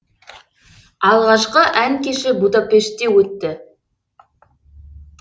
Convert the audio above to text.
алғашқы ән кеші будапештте өтті